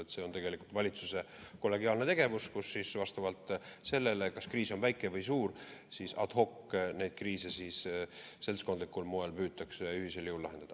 Et see on tegelikult valitsuse kollegiaalne tegevus, kus siis vastavalt sellele, kas kriis on väike või suur, ad hoc neid kriise seltskondlikul moel püütakse ühisel jõul lahendada.